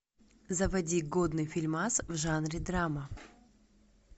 заводи годный фильмас в жанре драма